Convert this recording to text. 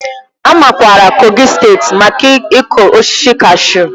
A makwaara Kogi steeti maka ịkụ osisi kashu.